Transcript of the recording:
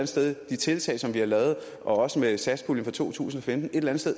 sted de tiltag som vi har lavet også med satspuljen for to tusind og femten